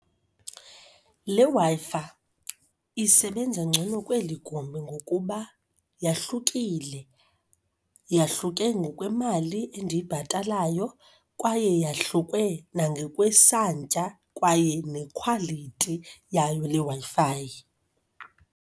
Le Wi-Fi isebenza ngcono kweli gumbi ngokuba yahlukile. Yahluke ngokwemali endiyibhatalayo kwaye yahluke nangokwesantya, kwaye nekhwalithi yayo le Wi-Fi.